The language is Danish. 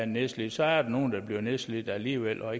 nedslidte så er der nogle der bliver nedslidt alligevel og